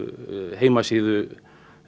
heimasíðu